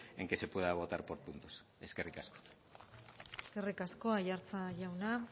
en que se pueda votar por puntos eskerrik asko eskerrik asko aiartza jauna